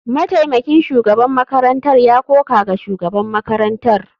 Mataimakin shugaban makarantar ya koka ga shugaban makarantar.